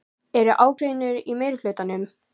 Er ágreiningur í meirihlutanum?